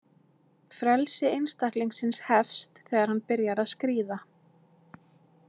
Frelsi einstaklingsins Hefst þegar hann byrjar að skríða.